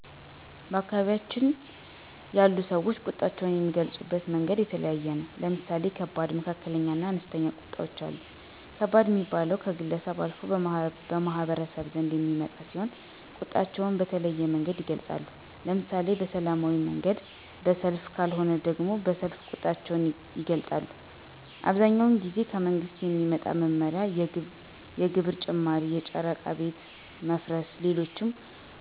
በአካባቢያችን ያሉ ሰወች ቁጣቸውን የሚገልፁበት መንገድ የተለያየ ነው። ለምሳሌ ከባድ፣ መካከለኛ እና አነስተኛ ቁጣወች አሉ። ከባድ ሚባለው ከግለሰብ አልፎ በማህበረሰቡ ዘንድ የሚመጣ ሲሆን ቁጣቸውን በተለያየ መንገድ ይገልፃሉ። ለምሳሌ በሰላማዊ መንገድ በሰልፍ ከልወነ ደሞ በሰይፍ ቁጣቸውን ይገልጣሉ። አብዛኛውን ጊዜ ከመንግስት በሚመጣ መመሪያ የግብር ጭማሪ የጨረቃ ቤት መፍረስ ሌሎችም።